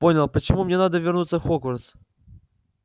понял почему мне надо вернуться в хогвартс